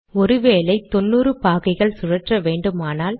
ஒரு வேளை தொன்னூறு பாகைகள் சுழற்ற வேண்டுமானால்